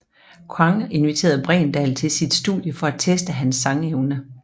Quang inviterede Bregendal til sit studie for at teste hans sangevne